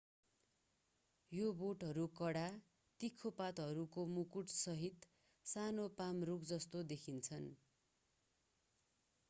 यी बोटहरू कडा तिखा पातहरूको मुकुटसहित सानो पाम रूख जस्ता देखिन्छन्